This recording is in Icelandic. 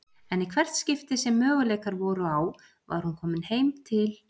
En í hvert skipti sem möguleikar voru á var hún komin heim til